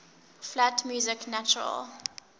flat music natural